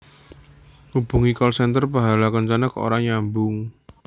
Ngubungi call center Pahala Kencana kok ora nyambung